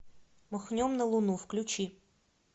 махнем на луну включи